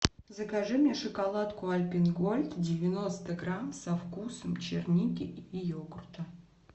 закажи мне шоколадку альпен гольд девяносто грамм со вкусом черники и йогурта